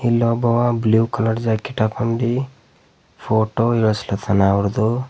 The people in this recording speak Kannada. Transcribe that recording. ಇಲ್ಲೊಬ್ಬವ ಬ್ಲೂ ಕಲರ್ ಜಾಕೆಟ್ ಹಾಕೊಂಡಿ ಫೋಟೋ ಇಡುಸ್ಲಿಕತ್ತಾನ ಅವ್ರುದು.